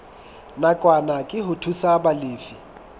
nakwana ke ho thusa balefi